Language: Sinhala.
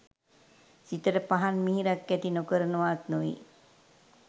සිතට පහන් මිහිරක් ඇති නොකරනවාත් නොවේ